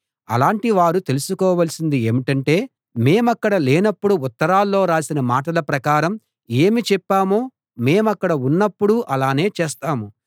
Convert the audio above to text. అలాంటి వారు తెలుసుకోవలసింది ఏంటంటే మేమక్కడ లేనపుడు ఉత్తరాల్లో రాసిన మాటల ప్రకారం ఏమి చెప్పామో మేమక్కడ ఉన్నప్పుడూ అలానే చేస్తాము